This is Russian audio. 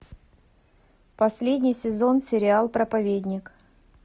последний сезон сериал проповедник